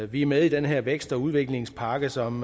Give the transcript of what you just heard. vi er med i den her vækst og udviklingspakke som